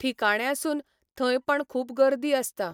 ठिकाण्यासून, थंय पण खूब गर्दी आसता.